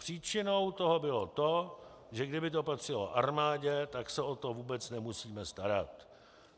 Příčinou toho bylo to, že kdyby to patřilo armádě, tak se o to vůbec nemusíme starat.